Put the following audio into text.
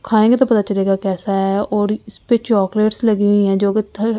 खाएंगे तो पता चलेगा कैसा है और इस पे चॉकलेट्स लगी हुई हैजो--